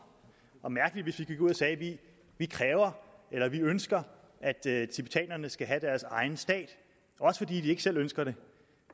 og mærkeligt hvis vi gik ud og sagde at vi ønsker at tibetanerne skal have deres egen stat også fordi de ikke selv ønsker det